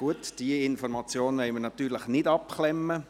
Gut, diese Information wollen wir natürlich nicht abklemmen.